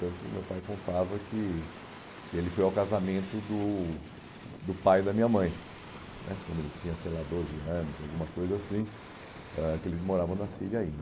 Tanto meu pai contava que ele foi ao casamento do do pai da minha mãe, né quando ele tinha, sei lá, doze anos, alguma coisa assim, ãh que eles moravam na Síria ainda.